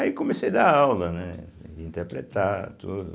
Aí comecei dar aula, né, interpretar tudo.